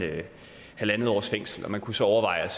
halv års fængsel og man kunne så overveje